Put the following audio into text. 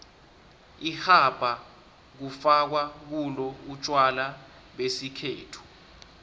irhabha kufakwa kulo utjwala besikhethu